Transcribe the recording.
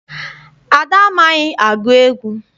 Ada amaghị agụ egwu.